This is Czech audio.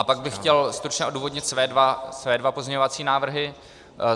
A pak bych chtěl stručně odůvodnit své dva pozměňovací návrhy.